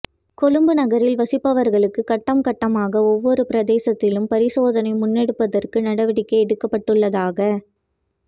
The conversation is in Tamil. கொழும்பு நகரில் வசிப்பவர்களுக்கு கட்டம் கட்டமாக ஒவ்வொரு பிரதேசத்திலும் பரிசோதனை முன்னெடுப்பதற்கு நடவடிக்கை எடுக்கப்பட்டுள்ளதாக